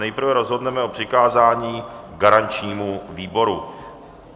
Nejprve rozhodneme o přikázání garančnímu výboru.